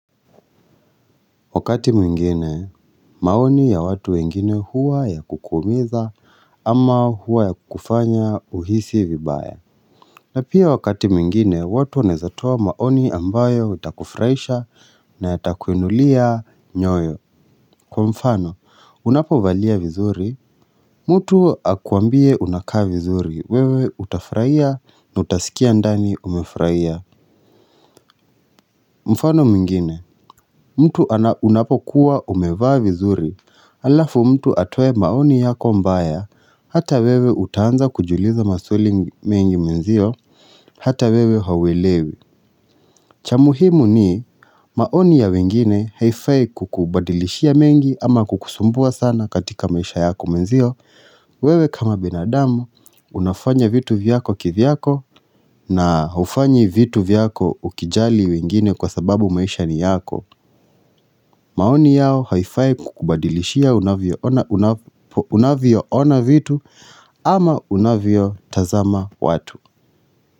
Wakati mwingine, maoni ya watu wengine huwa ya kukuumiza ama huwa ya kufanya uhisi vibaya. Na pia wakati mwingine, watu wanaezatoa maoni ambayo itakufuraisha na yatakuinulia nyoyo. Kwa mfano, unapo valia vizuri? Mtu akuambie unakaa vizuri, wewe utafuraia na utasikia ndani umefuraia. Mfano mwingine, mutu anapokuwa umevaa vizuri. Alafu mtu atoe maoni yako mbaya, hata wewe utaanza kujiuliza maswali mengi mwenzio, hata wewe hauelewi cha muhimu ni maoni ya wengine haifai kukubadilishia mengi ama kukusumbua sana katika maisha yako mwenzio wewe kama binadamu, unafanya vitu vyako kivyako na hufanyi vitu vyako ukijali wengine kwa sababu maisha ni yako maoni yao haifai kukubadilishia unavyo ona vitu ama unavyo tazama watu.